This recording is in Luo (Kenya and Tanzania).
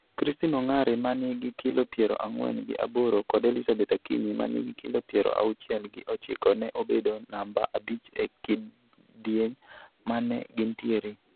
Christine Ongare ma nigi kilo piero ang'wen gi aboro kod Elizabeth Akinyi ma nigi kilo piero auchiel gi ochiko ne obedo namba abich e kidieny ma ne gintiere.